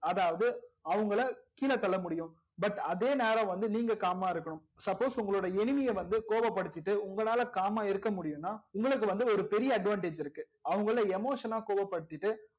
அதாவது அவங்கல கீழ தள்ள முடியும் but அதே நேரம் வந்து நீங்க calm மா இருக்கணும் suppose உங்களோட enemy வந்து கொவப் படுத்திட்டு உங்களால calm இருக்க முடியும் னா உங்களுக்கு வந்து ஒரு பெரிய advantage இருக்கு அவங்கல emotion னா கோவப் படுதிட்டு